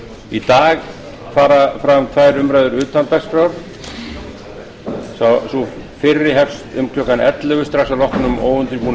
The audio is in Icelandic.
í dag fara fram tvær umræður utan dagskrár sú fyrri hefst um klukkan ellefu strax að loknum óundirbúnum